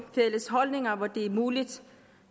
fælles holdninger hvor det er muligt